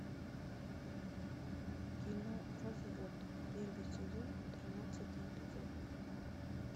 кино развод первый сезон тринадцатый эпизод